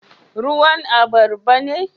Ruwan albarba ne?